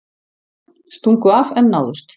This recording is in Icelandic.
Stungu af en náðust